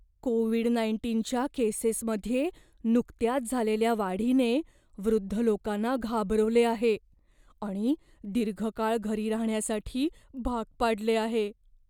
Covid नाईंटीनच्या केसेसमध्ये नुकत्याच झालेल्या वाढीने वृद्ध लोकांना घाबरवले आहे आणि दीर्घ काळ घरी राहण्यासाठी भाग पाडले आहे.